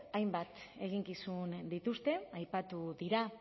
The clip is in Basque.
hainbat eginkizun dituzte aipatu dira